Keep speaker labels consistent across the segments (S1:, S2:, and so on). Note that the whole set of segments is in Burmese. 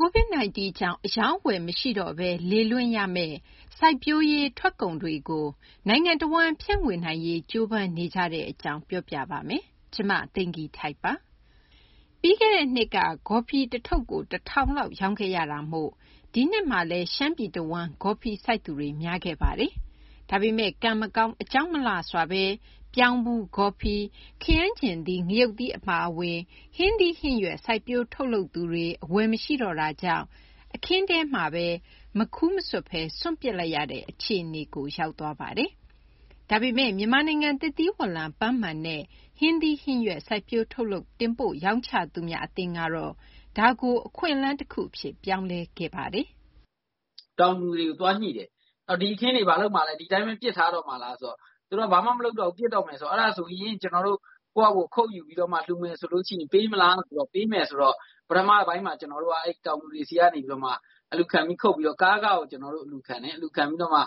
S1: COVID 19 ကြောင့် အရောင်းအဝယ် မရှိတော့ဘဲ လေလွင့်ရမယ့် စိုက်ပျိုးရေး ထွက်ကုန်တွေကို နိုင်ငံတဝန်း ဖြန့်ဝေနိုင်ရေး ကြိုးပမ်းနေကြတဲ့ အကြောင်း မ သိင်္ဂ ီထိုက် ပြောပြပေးပါမယ်။ ပြီးခဲ့တဲ့နှစ်က ဂေါ်ဖီထုပ် တထုပ်ကို ၁၀၀၀ ကျပ်လောက် ရောင်းခဲ့ရတာမို့ ဒီနှစ်မှာလည်း ရှမ်းပြည်တဝန်းမှာ ဂေါ်ဖီ စိုက်သူတွေ များခဲ့ပါတယ်။ ဒါပေမယ့် ကံမကောင်း အကြောင်းမလှစွာဘဲ ပြောင်းဖူး၊ ဂေါ်ဖီ၊ ခရမ်းချဉ်သီး၊ ငရုတ်သီး အပါအဝင် ဟင်းသီး ဟင်းရွက် စိုက်ပျိုးထုတ်လုပ်သူတွေ အဝယ်မရှိတော့တာကြောင့် အခင်းထဲမှာဘဲ မခူးမဆွတ်တော့ဘဲ စွန့်ပစ်လိုက်ရတဲ့ အခြေအနေကို ရောက်သွားပါတယ်။ ဒါပေမယ့် မြန်မာနိုင်ငံ သစ်သီးဝလံ၊ ပန်းမာန်နဲ့ ဟင်းသီးဟင်းရွက် စိုက်ပျိုးထုတ်လုပ် တင်ပို့ရောင်းချသူများ အသင်းကတော့ ဒါကို အခွင့်အလမ်း တခုအဖြစ် ပြောင်းလဲခဲ့ပါတယ်။
S2: “ တောင်သူတွေကို သွားညှိတယ်။ ဒီအခင်းတွေ ဒီတိုင်းဘဲ ပစ်ထားတော့မှာလား ဆိုတော့ သူတို့က ဘာမှ မလုပ်တော့ဘူး ပစ်တော့မယ်ဆိုတော့ အဲဒါဆိုရင် ကျနော်တို့ ကိုယ့်ဟာကိုယ် ခုတ်ယူပြီးတော့မှ လှူမယ်ဆိုရင် ပေးမလားဆိုတော့ ပေးမယ်ဆိုတော့ တောင်သူတွေဆီက အလှူခံ ခုတ်ပြီးတော့ ကားခကို အလှူခံတယ်။ အလှူခံပြီးတော့မှ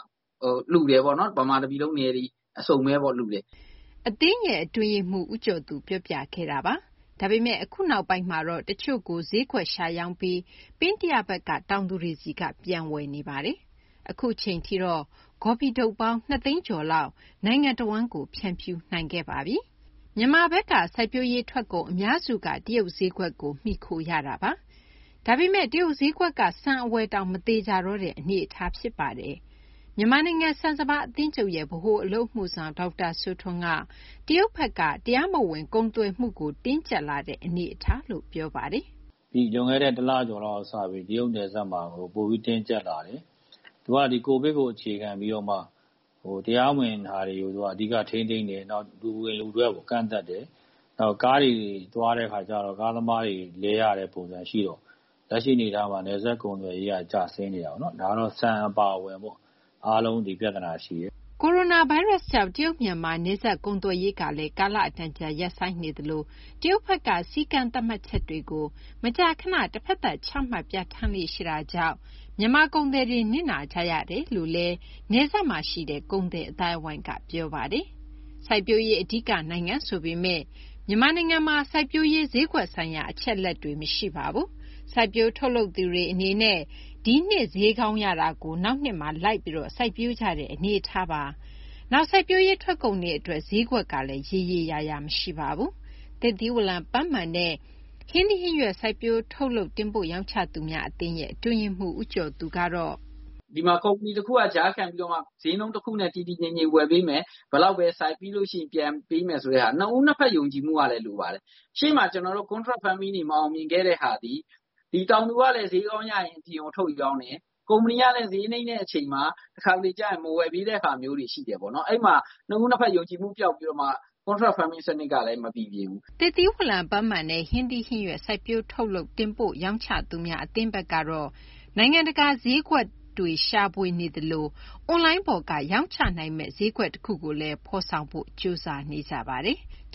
S2: ဗမာ တပြည်လုံး နယ်တွေ အစုံဘဲပေါ့ လှူတယ်။
S1: ” အသင်းရဲ့ အတွင်းရေးမှူး ဦးကျော်သူ ပြောပြခဲ့တာပါ။ ဒါပေမယ့် အခု နောက်ပိုင်းမှာတော့ တချို့ကို ဈေးကွက်ရှာရောင်းပြီး ပင်းတယဘက်က တောင်သူတွေဆီက ပြန်ဝယ်နေပါတယ်။ အခုအချိန်ထိတော့ ဂေါ်ဖီထုပ်ပေါင်း ၂ သိန်းကျော်လောက် နိုင်ငံတဝန်းကို ဖြန့်ဖြူးနိုင်ခဲ့ပါပြီ။ မြန်မာဘက်က စိုက်ပျိုးရေး ထွက်ကုန် အများစုက တရုတ် ဈေးကွက်ကို မှီခိုရတာ ဖြစ်ပါတယ်။ ဒါပေမယ့် တရုတ် ဈေးကွက်က ဆန် အဝယ်တောင် မသေချာတော့တဲ့ အနေအထားပါ။ မြန်မာနိုင်ငံ ဆန်စပါး အသင်းချုပ်ရဲ့ ဗဟိုအလုပ်အမှုဆောင် ဒေါက်တာ စိုးထွန်းက တရုတ်ဘက်က တရားမဝင် ကုန်သွယ်မှုကို တင်းကြပ်လာတဲ့ အနေအထားလို့ ပြောပါတယ်
S3: ။ “ လွန်ခဲ့တဲ့ တလကျော်လောက် ကတည်းက တရုတ် နယ်စပ်မှာ ပိုပြီး တင်းကျပ်လာတယ်။ သူက COVID ကို အခြေခံပြီးတော့မှ တရားမဝင် တွေကို ထိန်းသိမ်းတယ်။ နောက် လူဝင် လူထွက်ကို ကန့်သတ်တယ်။ နောက် ကားတွေ သွားတာမှာလည်း ကားသမားတွေ လဲရတဲ့ ပုံစံ ရှိတော့ လက်ရှိ အနေအထားမှာ နယ်စပ် ကုန်သွယ်ရေးက ကျဆင်းနေတာပေါ့နော်။ ဒါတော့ ဆန် အပါအဝင် အားလုံး ဒီပြဿနာ ရှိတယ်။
S1: ” ကိုရိုနာဗိုင်းရပ်ကြောင့် တရုတ်-မြန်မာ နယ်စပ်ကုန်သွယ်ရေးတွေလည်း ကာအတန်ကြာ ရပ်ဆိုင်းနေသလို၊ တရုတ်ဘက်က စည်းကမ်း သတ်မှတ်ချက်တွေကို မကြာခဏ တဘက်သတ် ချမှတ် ပြဌာန်းလေ့ရှိတာကြောင့် မြန်မာကုန်သည်တွေ နစ်နာကြရကြောင်း နယ်စပ်မှာရှိတဲ့ ကုန်သည်အသိုင်းဝိုင်းက ပြောပါတယ်။ စိုက်ပျိုးရေး အဓိက နိုင်ငံ ဆိုပေမယ့် မြန်မာနိုင်ငံမှာ စိုက်ပျိုးရေး ဈေးကွက်ဆိုင်ရာ အချက်အလက်တွေ မရှိပါဘူး။ စိုက်ပျိုးထုတ်လုပ်သူတွေ အနေနဲ့ ဒီနှစ် ဈေးကောင်းရတာကို နောက်နှစ်မှာ လိုက်ပြီး စိုက်ပျိုးကြတဲ့ အနေအထားပါ။ နောက် စိုက်ပျိုးရေး ထွက်ကုန်တွေ အတွက် ဈေးကွက်ကလည်း ရေရေ ရာရာမရှိပါဘူး။ သစ်သီးဝလံ၊ ပန်းမာန်နဲ့ ဟင်းသီးဟင်းရွက် စိုက်ပျိုးထုတ်လုပ် တင်ပို့ရောင်းချသူများ အသင်း အတွင်းရေးမှူး ဦးကျော်သူကတော့
S2: “ ဒီမှာ ကုမ္ပဏီ တခုက ကြားခံပြီးတော့ ဈေးနှုန်း တခုနဲ့ တည်တည်ငြိမ်ငြိမ် ဝယ်ပေးမယ်။ ဘယ်လောက်ဘဲ စိုက်။ နှစ်ဦး နှစ်ဘက် ယုံကြည်မှုကလည်း လိုပါတယ်။ ရှေ့မှာ ကျနော်တို့ Contract Farming တွေ မအောင်မြင်ခဲ့တဲ့ဟာသည် ဒီ တောင်သူကလည်း ဈေးကောင်းရရင် အပြင်ကို ထုတ်ရောင်းတယ်။ ကုမ္ပဏီကလည်း ဈေးနိမ့်တဲ့ အခါကျရင် တခါတလေကျ မဝယ်ပေးတဲ့ဟာတွေ ရှိတယ်ပေါ့နော်။ အဲဒီမှာ နှစ်ဦး နှစ်ဘက် ယုံကြည်မှု ပျောက်ပြီးတော့ Contract Farming စနစ်ကလည်း မပီပြင်ဘူး။
S1: ” သစ်သီးဝလံ၊ ပန်းမာန်နဲ့ ဟင်းသီးဟင်းရွက် စိုက်ပျိုးထုတ်လုပ် တင်ပို့ရောင်းချသူများ အသင်းဘက်ကတော့ နိုင်ငံတကာ ဈေးကွက်ရှာဖွေနေသလို အွန်လိုင်းပေါ်ကနေ ရောင်းချနိုင်မယ့် ဈေးကွက်တခု ဖော်ဆောင်ဖို့လည်း ကြိုးစားနေကြပါတယ်။